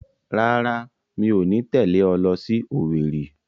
Rárá, mi ò ní tẹ̀lé ọ lọ sí Owerri